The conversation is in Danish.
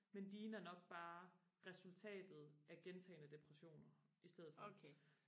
men dine er nok bare resultatet af gentagende depressioner i stedet for